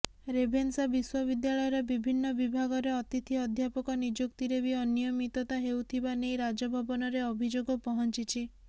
Ravenshaw ବିଶ୍ୱବିଦ୍ୟାଳୟର ବିଭିନ୍ନ ବିଭାଗରେ ଅତିଥି ଅଧ୍ୟାପକ ନିଯୁକ୍ତିରେ ବି ଅନିୟମିତତା ହେଉଥିବା ନେଇ ରାଜଭବନରେ ଅଭିଯୋଗ ପହଞ୍ଚିଛି